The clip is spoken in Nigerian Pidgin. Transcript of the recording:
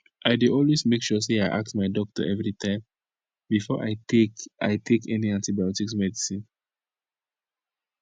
i dey always make sure say i ask my doctor everytime before i take i take any antibiotics medicine